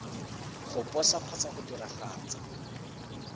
go posa kgotsa go diragatsa